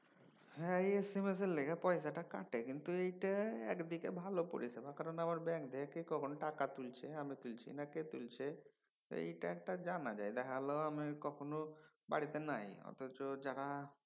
তাহ্যা এই এসেমেসের লইগা পয়সাটা কাটে কিন্তু এইটা একদিকে ভালো পরিষেবা কারণ আবার ব্যাঙ্ক থেকে কে কখন টাকা তুলছে আমি তুলছি না কে তুলছে এইটা একটা জানা যায়। দেখা গেলো আমি বাড়িতে নাই কখনও বাড়িতে নাই অথচ যারা